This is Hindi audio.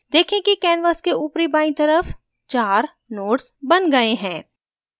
देखें कि canvas के ऊपरी बायीं तरफ 4 nodes बन गए हैं